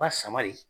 Ba sama de